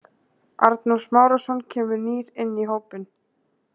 Arnór Smárason kemur nýr inn í hópinn.